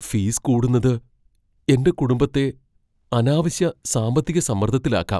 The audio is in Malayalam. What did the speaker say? ഫീസ് കൂടുന്നത് എന്റെ കുടുംബത്തെ അനാവശ്യ സാമ്പത്തിക സമ്മർദ്ദത്തിലാക്കാം.